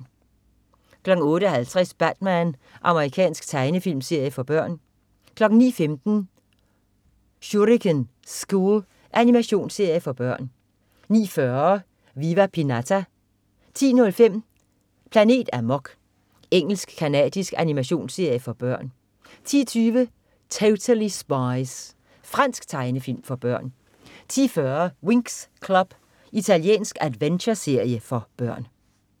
08.50 Batman. Amerikansk tegnefilmserie for børn 09.15 Shuriken School. Animationsserie for børn 09.40 Viva Pinata 10.05 Planet Amok. Engelsk-canadisk animationsserie for børn 10.20 Totally Spies. Fransk tegnefilm for børn 10.40 Winx Club. Italiensk adventureserie for børn